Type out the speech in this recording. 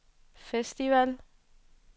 festival